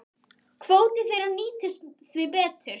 Kvóti þeirra nýtist því betur.